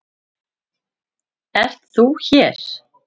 ÞÚ ERT hér.